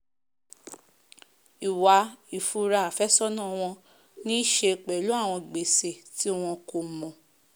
ìwà ìfura àfẹ́sọ̀nà wọn ní í se pẹ̀lú àwọn gbèsè tí wọn kòmọ̀